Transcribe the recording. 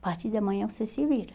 A partir da manhã você se vira.